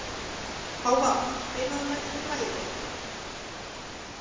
Hávarr, spilaðu lagið „Flæði“.